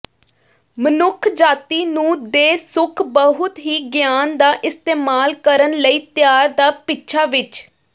ਮਨੁੱਖਜਾਤੀ ਨੂੰ ਦੇ ਸੁਖ ਬਹੁਤ ਹੀ ਗਿਆਨ ਦਾ ਇਸਤੇਮਾਲ ਕਰਨ ਲਈ ਤਿਆਰ ਦਾ ਪਿੱਛਾ ਵਿਚ